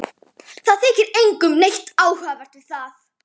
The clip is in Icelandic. Það þykir engum neitt athugavert við það.